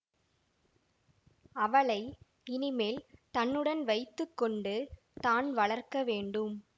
அவளை இனி மேல் தன்னுடன் வைத்து கொண்டு தான் வளர்க்க வேண்டும்